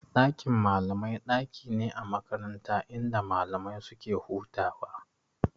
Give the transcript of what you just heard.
Dakin malamai daki ne a makaranta inda malamai suke hutawa.